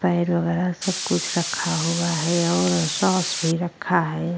पैर वगैरह सब कुछ रखा हुआ है और सॉस भी रखा है।